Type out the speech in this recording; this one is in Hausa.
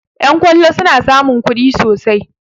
Yan kollo suna samun kuɗi sosai